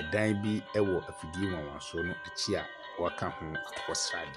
Ɛdan bi wɔ efidie wanwansoɔ no akyi a wɔanka hɔ akokɔ sradeɛ.